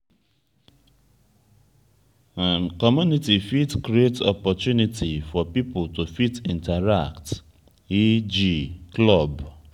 community fit create opportunity for pipo to fit interact e.g club